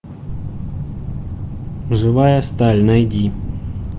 живая сталь найди